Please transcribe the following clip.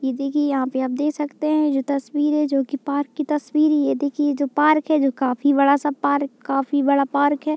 इ देखिये यहाँ पे आप देख सकते हैं जो तस्वीर है जो की पार्क की तस्वीर है ये देखिये जो पार्क है काफी बड़ा-सा पार्क काफी बड़ा पार्क है।